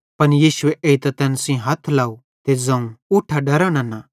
पन यीशुए एइतां तैन सेइं हथ लाव ते ज़ोवं उठा डरा नन्ना